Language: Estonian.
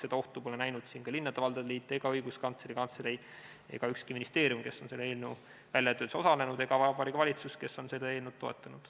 Seda ohtu pole näinud siin ka linnade ja valdade liit, Õiguskantsleri Kantselei ega ükski ministeerium, kes on selle eelnõu väljatöötamises osalenud, ega Vabariigi Valitsus, kes on seda eelnõu toetanud.